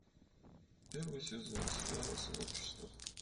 первый сезон сериала сообщество